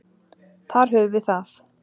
Þar höfum við það.